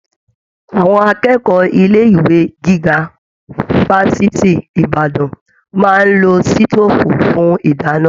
Àwọn akẹ́kọ̀ọ́ ilé ìwé gíga fafiti Ìbàdàn máa n ló sitofu fún didana.